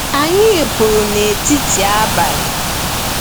Anyị pụrụ n'etiti abalị.